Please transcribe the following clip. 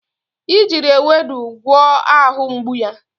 I jiri ewedu gwọọ ahụ mgbu ya.